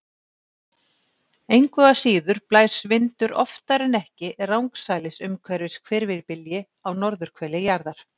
Engu að síður blæs vindur oftar en ekki rangsælis umhverfis hvirfilbylji á norðurhveli jarðar.